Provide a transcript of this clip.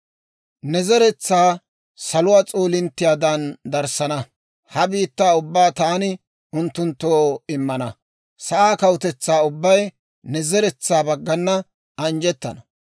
Ne zeretsaa saluwaa s'oolinttiyaadan darissana; ha biittaa ubbaa taani unttunttoo immana; sa'aa kawutetsaa ubbay ne zeretsaa baggana anjjettana.